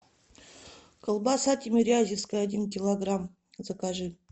колбаса тимирязевская один килограмм закажи